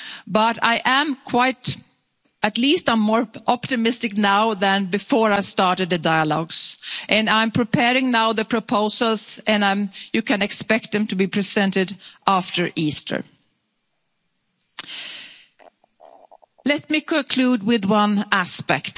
We all know it's a difficult task, of course, but at least I'm more optimistic now than before I started the dialogues and I'm preparing now the proposals and you can expect them to be presented